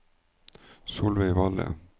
Solveig Valle